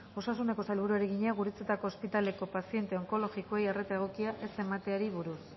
osasuneko sailburuari egina gurutzetako ospitaleko paziente onkologikoei arreta egokia ez emateari buruz